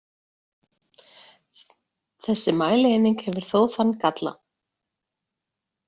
Þessi mælieining hefur þó þann galla.